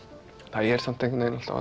það er samt einhvern veginn alltaf